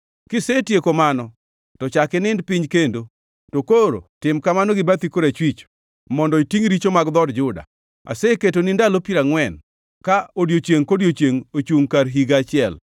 “Kisetieko mano to chak inind piny kendo; to koro tim kamano gi bathi korachwich, mondo itingʼ richo mag dhood Juda. Aseketoni ndalo 40, ka odiechiengʼ kodiechiengʼ ochungʼ kar higa achiel.